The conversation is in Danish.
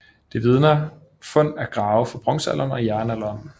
Det vidner fund af grave fra bronzealder og jernalder om